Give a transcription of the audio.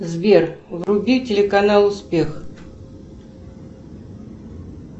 сбер вруби телеканал успех